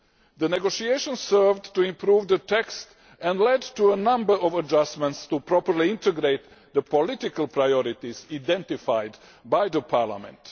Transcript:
The negotiations served to improve the text and led to a number of adjustments in order properly to integrate the political priorities identified by Parliament.